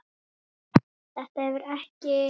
Þetta hefur ekki.?